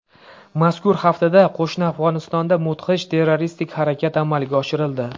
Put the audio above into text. Mazkur haftada qo‘shni Afg‘onistonda mudhish terroristik harakat amalga oshirildi.